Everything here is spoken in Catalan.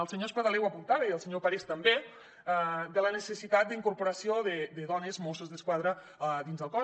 el senyor espadaler ho apuntava i el senyor parés també la necessitat d’incorporació de dones mosses d’esquadra dins el cos